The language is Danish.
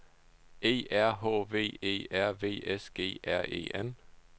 E R H V E R V S G R E N